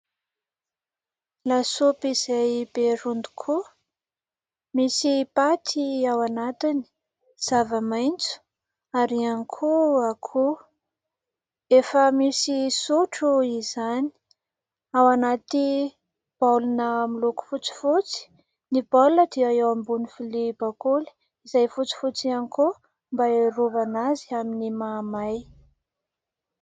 Lasopy izay be rony tokoa, misy paty ao anatiny, zava-maitso ary ihany koa akoho. Efa misy sotro izany, ao anaty baolina miloko fotsifotsy ; ny baolina dia eo ambony vilia bakoly izay fotsifotsy ihany koa mba hiarovana azy amin'ny mamay.